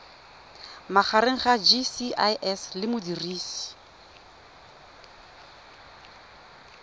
magareng ga gcis le modirisi